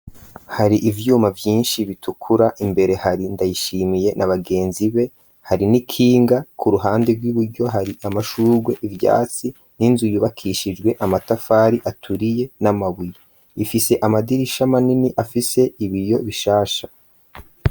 Hari ivyuma vyinshi bitukura imbere hari Ndayishimiye na bagenzi be, hari n'ikinga ku ruhande rw'iburyo hari amashurwe ivyatsi n'inzu yubakishijwe amatafari aturiye n'amabuye. Ifise amadirisha manini afise ibiyo bishasha.